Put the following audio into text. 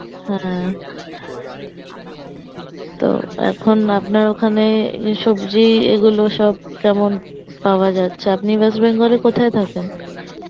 হ্যাঁ, তো এখন আপনার ওখানে সবজি এগুলো সব কেমন পাওয়া যাচ্ছে আপনি West Bengal এ কোথায় থাকেন?